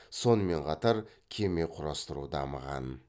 сонымен қатар кеме құрастыру дамыған